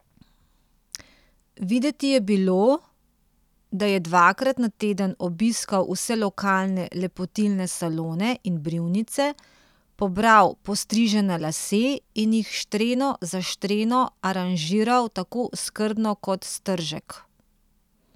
Videti je bilo, da je dvakrat na teden obiskal vse lokalne lepotilne salone in brivnice, pobral postrižene lase in jih štreno za štreno aranžiral tako skrbno kot stržek.